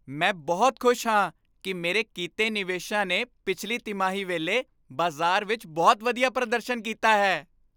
ਮੈਂ ਬਹੁਤ ਖੁਸ਼ ਹਾਂ ਕਿ ਮੇਰੇ ਕੀਤੇ ਨਿਵੇਸ਼ਾਂ ਨੇ ਪਿਛਲੀ ਤਿਮਾਹੀ ਵੇਲੇ ਬਾਜ਼ਾਰ ਵਿੱਚ ਬਹੁਤ ਵਧੀਆ ਪ੍ਰਦਰਸ਼ਨ ਕੀਤਾ ਹੈ।